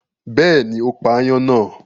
Bẹ́ẹ̀ni, ó pa aáyán náà.